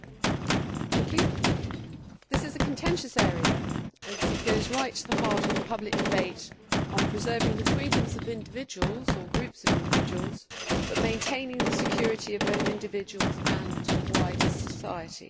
Mr President, this is a contentious area and it goes right to the heart of the public debate on preserving the freedoms of individuals, or groups of individuals, while maintaining the security of both individuals and wider society.